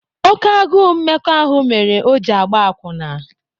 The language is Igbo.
Oké agụụ mmekọ ahụ mere o ji agba akwụna